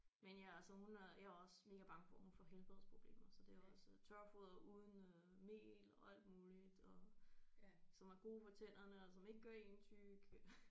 Men ja så hun er jeg er også mega bange for hun får helbredsproblemer så det er også tørfoder uden øh mel og alt muligt og som er gode for tænderne og som ikke gør én tyk